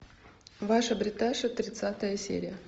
ваша бриташа тридцатая серия